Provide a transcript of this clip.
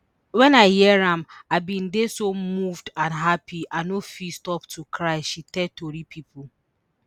wen i hear am i bin dey so moved and happy i no fit stop to cry she tell tori pipo